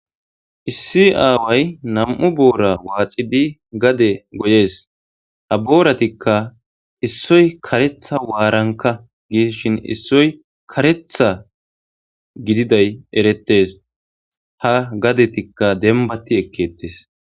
Issi aaway nam'u boora waaxi bi gade goyees ha booratikka issoy karetha waaranka gishin issoy karetha gididay erettes ha gadetikka dembati ekkeettes.